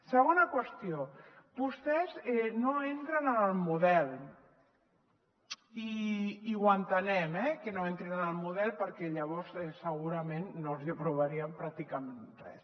segona qüestió vostès no entren en el model i ho entenem eh que no entrin en el model perquè llavors segurament no els hi aprovaríem pràcticament res